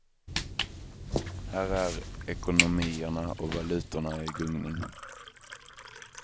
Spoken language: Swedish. Här är ekonomierna och valutorna i gungning.